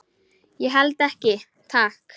Ég held ekki, takk.